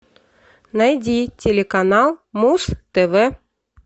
найди телеканал муз тв